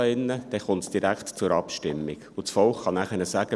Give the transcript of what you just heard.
Dann kommt es direkt zur Abstimmung, und das Volk kann nachher sagen: